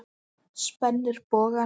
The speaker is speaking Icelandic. Spennir bogann.